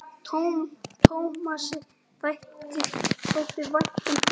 Tómasi þótti vænt um börn.